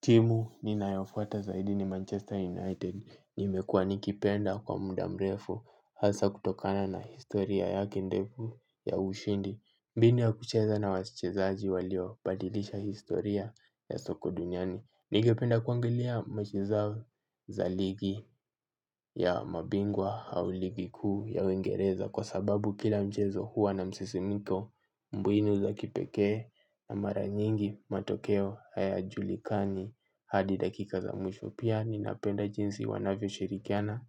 Timu ninayofuata zaidi ni Manchester United nimekuwa nikipenda kwa muda mrefu hasa kutokana na historia yake ndefu ya ushindi mbinu ya kucheza na wachezaji walio badilisha historia ya soko duniani. Nilipenda kuangalia michezo zao zaligi ya mabingwa au ligi kuu ya uingereza. Kwa sababu kila mchezo huwa na msisimiko mbinu uza kipekee na mara nyingi matokeo hayajulikani. Hadi dakika za mwisho pia ninapenda jinsi wanavyoshirikiana